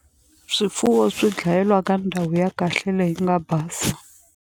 Swifuwo swi dlayeliwa ka ndhawu ya kahle leyi nga basa.